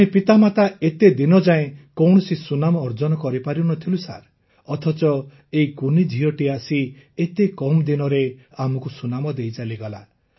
ଆମେ ପିତାମାତା ଏତେ ଦିନଯାଏ କୌଣସି ସୁନାମ ଅର୍ଜନ କରିପାରି ନ ଥିଲୁ ଅଥଚ ଏହି କୁନି ଝିଅଟି ଆସି ଏତେ କମ୍ ଦିନରେ ଆମକୁ ସୁନାମ ଦେଇ ଚାଲିଗଲା